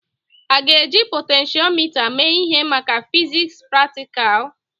A ga-eji potentiomita mee ihe maka fiziks praktikal?